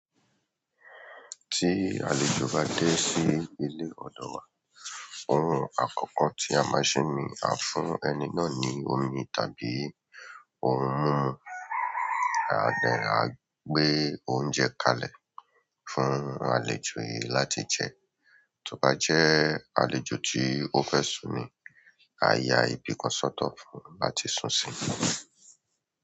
Tí àlejò bá dé sí ilé ọ̀dọ̀ wa, ohun àkọ́kọ́ tí a máa ṣe ni a fún ẹni náà ní omi tàbí ohun mímu. À díẹ̀, a gbé oúnjẹ kalẹ̀ fún àlejò yìí láti jẹ, tọ́bá jẹ́ àlejò tí ó fẹ́ sùn ni, a yá ibi kan ṣọ̀tọ̀ fún un lá ti sùn sí.